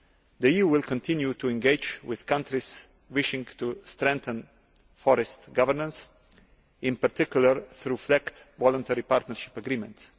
The EU will continue to engage with countries wishing to strengthen forest governance, in particular through FLEGT Voluntary Partnership Agreements.